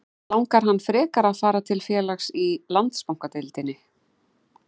En langar hann frekar að fara til félags í Landsbankadeildinni?